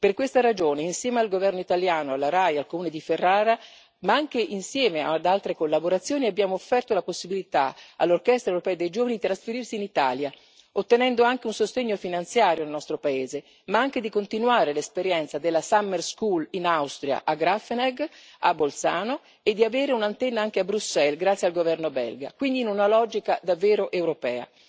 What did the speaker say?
Per questa ragione, insieme al governo italiano, alla Rai e al comune di Ferrara, ma anche insieme ad altre collaborazioni, abbiamo offerto la possibilità all'Orchestra dei giovani dell'Unione europea di trasferirsi in Italia, ottenendo anche un sostegno finanziario dal nostro paese, ma anche di continuare l'esperienza della Summer School in Austria, a Grafenegg, a Bolzano, e di avere un'antenna anche a Bruxelles, grazie al governo belga, quindi in una logica davvero europea.